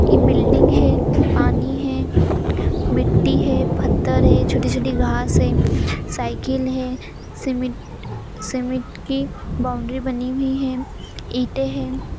ये बिल्डिंग हैं पानी हैं मिट्टी हैं फत्तर है छोटी-छोटी घास हैं साइकिल हैं सीमेंट - सीमेंट की बाउंड्री बनी हुई हैं ईंटे हैं।